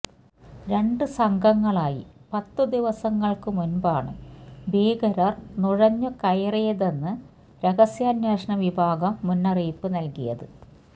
രണ്ടു സംഘങ്ങളായി പത്തു ദിവസങ്ങള്ക്കു മുന്പാണു ഭീകരര് നുഴഞ്ഞുകയറിയതെന്നു രഹസ്യാന്വേഷണ വിഭാഗം മുന്നറിയിപ്പ് നല്കിയത്